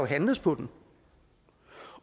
handles på den